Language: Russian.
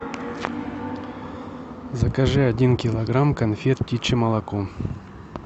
закажи один килограмм конфет птичье молоко